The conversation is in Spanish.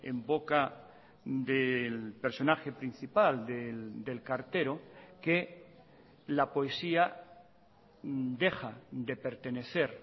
en boca del personaje principal del cartero que la poesía deja de pertenecer